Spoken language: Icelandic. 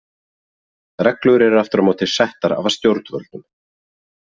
Reglur eru aftur á móti settar af stjórnvöldum.